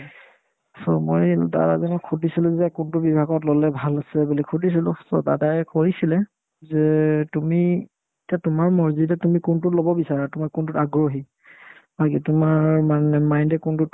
so, মই দাদাজনক সুধিছিলো যে কোনতো বিভাগত ল'লে ভাল আছিলে বুলি সুধিছিলো so দাদাই কৈছিলে যে তুমি এতিয়া তোমাৰ marzi এতিয়া তুমি কোনটোত ল'ব বিচাৰা তোমাৰ কোনটোত আগ্ৰহী আগে তোমাৰ মানে mind য়ে কোনটোত